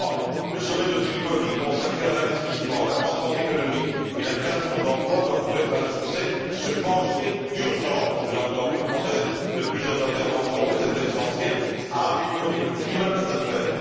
Troisièmement, le sommet de Tripoli, consacré à l'investissement, à la croissance économique et à la création d'emplois, doit, pour être un succès, s'attacher d'urgence je l'ai entendu au travers de plusieurs interventions, mais c'est essentiel à améliorer le climat des affaires.